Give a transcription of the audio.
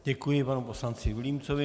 Děkuji panu poslanci Vilímcovi.